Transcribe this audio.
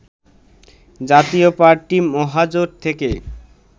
জাতীয় পার্টি মহাজোট থেকে